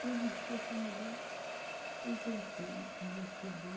Me vesti a camisola e deitei e me cobri.